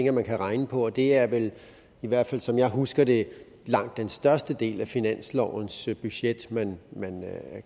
at man kan regne på det er vel i hvert fald som jeg husker det langt den største del af finanslovens budget man